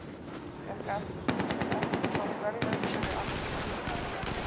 Fékk eftirsótt verðlaun fyrir arkitektúr